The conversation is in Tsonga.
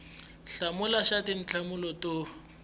b hlamula xa tinhlamulo to